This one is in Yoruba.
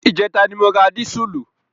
Ìjẹta ni mo ra dísùlù.